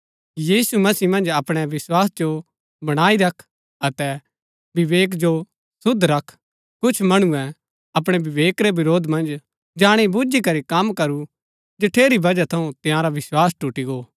यीशु मसीह मन्ज अपणै विस्वास जो बणाई रख अतै विवेक जो शुद्ध रख कुछ मणुऐ अपणै विवेक रै विरोध मन्ज जाणी बूझी करी कम करू जठेरी वजह थऊँ तंयारा विस्वास टूटी गो